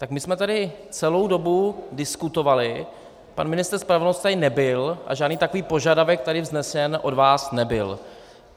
Tak my jsme tady celou dobu diskutovali, pan ministr spravedlnosti tady nebyl a žádný takový požadavek tady vznesen od vás nebyl.